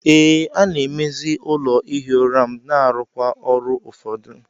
Ee, a-na emezi ụlọ ihi ụra m na-arụkwa ọrụ ụfọdụ.